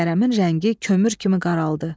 Kərəmin rəngi kömür kimi qaraldı.